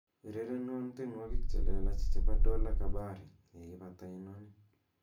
urerenwon tienwogik chelelach chebo dola kabari yeipat inoni